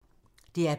DR P2